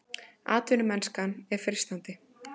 Atvinnumennskan er freistandi